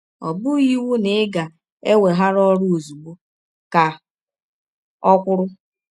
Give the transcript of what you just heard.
“ Ọ bụghị iwụ na ị ga - eweghara ọrụ ọzụgbọ, ” ka ọ kwụrụ.